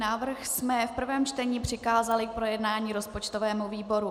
Návrh jsme v prvém čtení přikázali k projednání rozpočtovému výboru.